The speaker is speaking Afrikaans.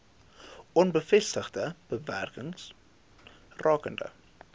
onbevestigde bewerings rakende